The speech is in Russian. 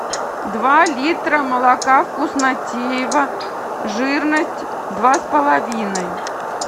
два литра молока вкуснотеево жирность два с половиной